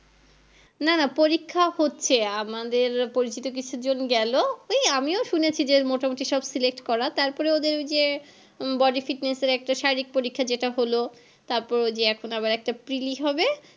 না না পরীক্ষা হচ্ছে আমাদের পরিচিত কিছুজন গেলো ওই আমিও শুনেছি যে মোটামোটি সব select করা তারপর ওই যে body fitness এর শারীরিক পরীক্ষা যেটা হলো তারপর ওই যে এখন আবার একটা preli হবে